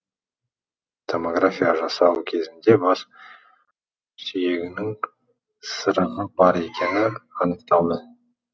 томография жасау кезінде бас сүйегінің сырығы бар екені анықталды